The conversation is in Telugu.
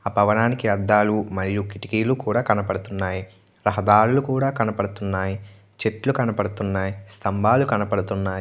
ఆ భవనానికి అద్దాలు మరియు కిటికీలు కూడా కనబడుతూన్నాయ్ రహదారులు కూడా కనబడుతున్నాయ్ చెట్లు కనపడుతున్నాయ్ స్తంభాలు కనబడుతున్నాయ్.